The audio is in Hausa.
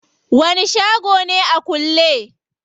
Wani shago ne a kulle?